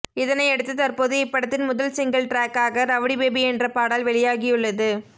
இதனையடுத்து தற்போது இப்படத்தின் முதல் சிங்கிள் டிராக்காக ரவுடி பேபி என்ற பாடல் வெளியாகியுள்ளது